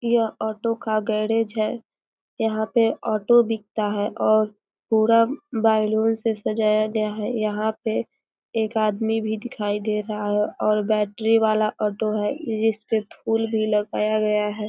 यह ऑटो का गैरेज है यहाँ पर ऑटो बिकता है और पूरा बैलून से सजाया गया है यहाँ पे एक आदमी भी दिखाई दे रहा है और बैटरी वाला ऑटो है जिसपे फूल भी लगाया गया है।